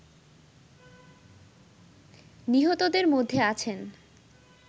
নিহতদের মধ্যে আছেন